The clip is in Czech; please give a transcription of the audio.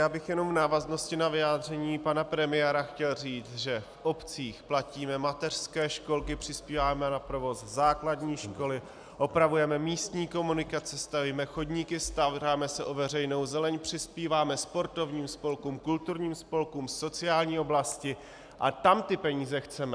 Já bych jenom v návaznosti na vyjádření pana premiéra chtěl říct, že v obcích platíme mateřské školky, přispíváme na provoz základní školy, opravujeme místní komunikaci, stavíme chodníky, staráme se o veřejnou zeleň, přispíváme sportovním spolkům, kulturním spolkům, sociální oblasti - a tam ty peníze chceme.